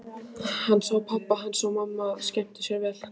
Hann sá að pabbi hans og mamma skemmtu sér vel.